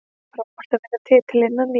Það er frábært að vinna titilinn að nýju.